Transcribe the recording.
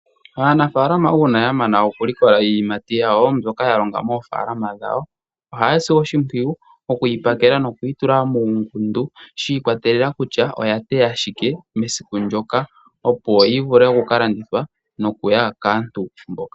Aanafaalama uuna yamana oku likola iiyimati yawo mbyoka ya longa moofaalama dhawo. Ohaya si oshimpwiyu okuyi pakela noku yi tula muungundu shikwatelela kutya oya teya shike mesiku lyoka opo yi vule oku ka landithwa noku ya kaantu mboka.